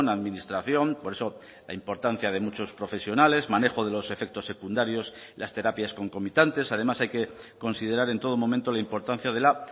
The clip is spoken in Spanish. administración por eso la importancia de muchos profesionales manejo de los efectos secundarios las terapias concomitantes además hay que considerar en todo momento la importancia de la